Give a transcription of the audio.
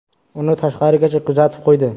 Uni tashqarigacha kuzatib qo‘ydi.